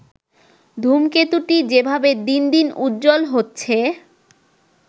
ধূমকেতুটি যেভাবে দিনদিন উজ্জ্বল হচ্ছে